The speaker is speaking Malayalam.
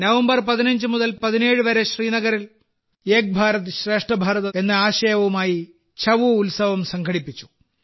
നവംബർ 15 മുതൽ 17 വരെ ശ്രീനഗറിൽ ഏക് ഭാരത് ശ്രേഷ്ഠ ഭാരത് എന്ന ആശയവുമായി ഛഊ ഉത്സവം സംഘടിപ്പിച്ചു